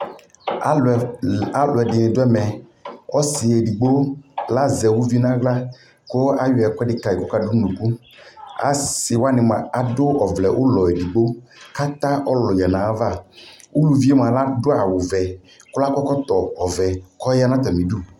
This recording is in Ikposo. alʋɛdini dʋɛmɛ, ɔsii ɛdigbɔ lazɛ ʋvi nʋala kʋayɔ ɛkʋedi kayi kʋɔka dʋnʋʋnʋkʋ, asii waniadʋɔvlɛʋlɔ ɛdigbɔ kʋ ata ɔlʋ yanʋ aɣa, ʋlʋviɛ mʋa Laski awʋ vɛ kʋ akɔ ɛkɔtɔ vʋ kʋ ɔya nʋ ɔtami dʋ